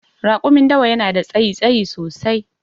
Rakumin dawa yanada tsayi, tsayi sosai